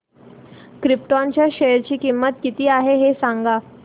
krypton च्या share ची किंमत किती आहे हे सांगा